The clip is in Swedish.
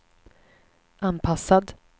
anpassad